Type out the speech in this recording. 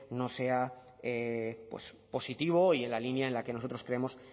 no sea positivo y en la línea en la que nosotros creemos